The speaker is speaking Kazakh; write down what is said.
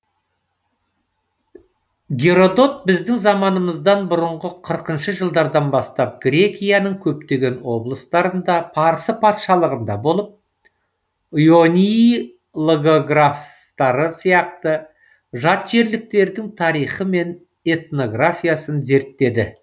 геродот біздің заманымыздан бұрынғы қырқыншы жылдардан бастап грекияның көптеген облыстарында парсы патшалығында болып ионий логографтары сияқты жатжерліктердің тарихы мен этнографиясын зерттеді